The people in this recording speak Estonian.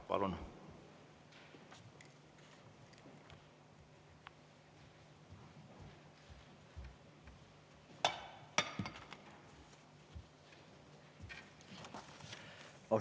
Palun!